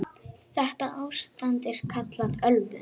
Þetta ástand er kallað ölvun.